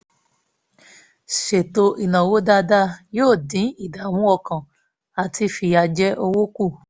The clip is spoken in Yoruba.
ṣètò ináwó dáadáa yóò dín ìdààmú ọkàn àti fìyàjẹ owó kù